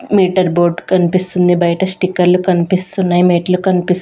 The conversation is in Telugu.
మీటర్ బోర్డ్ కనిపిస్తుంది బయట స్టిక్కర్లు కనిపిస్తున్నాయి మెట్లు కనిపిస్.